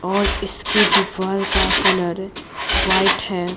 और इसके दीवार का कलर वाइट है।